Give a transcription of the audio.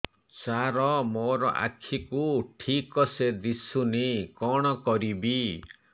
ସାର ମୋର ଆଖି କୁ ଠିକସେ ଦିଶୁନି କଣ କରିବି